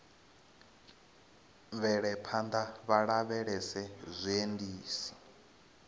bvele phanḓa vha lavhelese zwiendisi